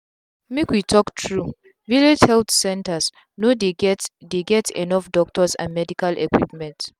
make we talk truevillage health centers no dey get dey get enough doctors and medical equipment.